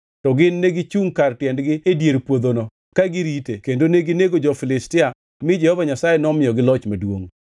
to gin negichungʼ kar tiendgi e dier puodhono ka girite kendo ginego jo-Filistia mi Jehova Nyasaye nomiyogi loch maduongʼ.